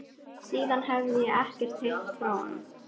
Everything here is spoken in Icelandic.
Síðan hefi ég ekkert heyrt frá honum.